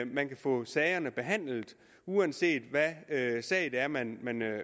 man kan få sagerne behandlet uanset hvad sag det er man